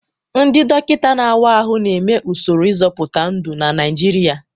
Ndị dọkịta na-awa ahụ na-eme usoro ịzọpụta ndụ na Naijiria.